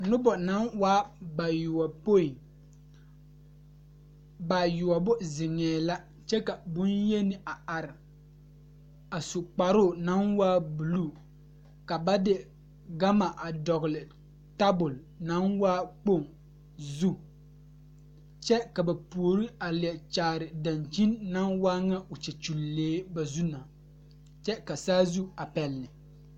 Nobɔ naŋ waa bayoɔpoi bayoɔbo zeŋɛɛ la kyɛ ka bonyeni a are a su kparoo naŋ waa bluu ka ba de gama a dɔgle tabole naŋ waa kpoŋ zu kyɛ ka ba puori a leɛ kyaare dankyini naŋ waa ŋa o kyɛkyulee ba zu na kyɛ ka saazu a pɛle.